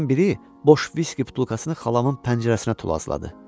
Onların biri boş viski butulkasını xalamın pəncərəsinə tulazladı.